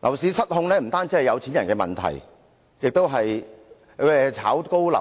樓市失控不單是有錢人的問題，樓價被炒高會